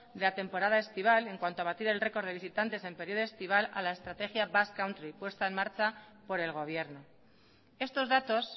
de la temporada estival en cuanto a batir el récord de visitantes en periodo estival a la estrategia basque country puesta en marcha por el gobierno estos datos